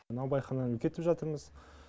наубайхананы үлкейтіп жатырмыз